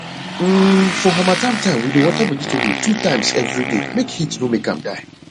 um for harmattan time we dey water vegetable two times every day make heat no make am die